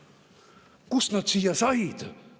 Kust ta siia sai?